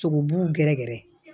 Sogobu gɛrɛ gɛrɛ